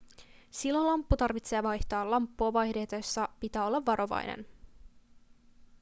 silloin lamppu tarvitsee vaihtaa lamppua vaihdettaessa pitää olla varovainen